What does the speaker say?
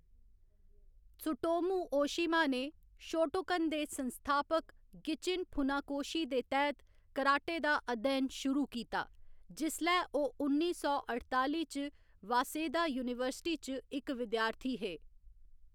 Tsutomu Ohshima ने Shotokan दे संस्थापक गिचिन फुनाकोशी दे तैह्‌‌‌त कराटे दा अध्ययन शुरू कीता, जिसलै ओह्‌‌ उन्नी सौ अठताली च वासेदा यूनीवर्सिटी च इक विद्यार्थी हे।